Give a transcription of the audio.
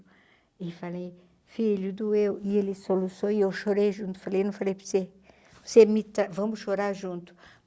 E falei, filho doeu, e ele soluçou e eu chorei junto, falei, eu não falei para você, você, vamos chorar junto.